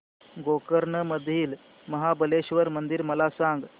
गोकर्ण मधील महाबलेश्वर मंदिर मला सांग